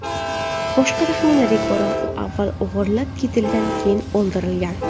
Boshqa taxminlarga ko‘ra, u avval o‘g‘irlab ketilgan, keyin o‘ldirilgan.